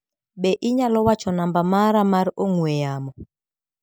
Be inyalo wacho namba mara mar ong'ue yamo?